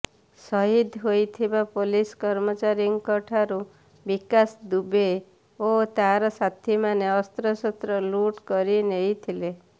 ସହିଦ ହୋଇଥିବା ପୋଲିସ କର୍ମୀମାନଙ୍କ ଠାରୁ ବିକାଶ ଦୁବେ ଓ ତାର ସାଥୀମାନେ ଅସ୍ତ୍ରଶସ୍ତ୍ର ଲୁଟ୍ କରିନେଇଥିଲେ